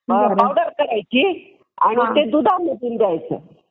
powder करायची आणि ते दुधामधून द्यायचं